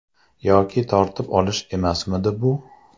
Yoki tortib olish emasmidi bu?